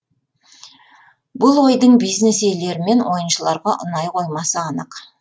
бұл ойдың бизнес иелері мен ойыншыларға ұнай қоймасы анық